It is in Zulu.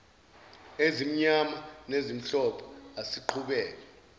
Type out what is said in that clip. ezimnyama nezimhlophe asiqhubeke